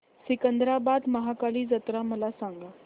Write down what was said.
सिकंदराबाद महाकाली जत्रा मला सांगा